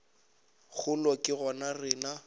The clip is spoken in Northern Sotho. kgolo ke go re na